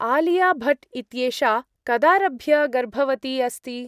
आलिया भट्ट् इत्येषा कदारभ्य गर्भवती अस्ति?